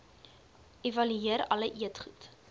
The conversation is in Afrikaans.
evalueer alle eetgoed